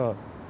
156.